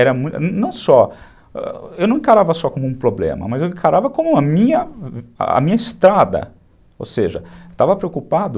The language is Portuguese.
Era muito, não só, eu não encarava só como um problema, mas eu encarava como a minha estrada, ou seja, estava preocupado...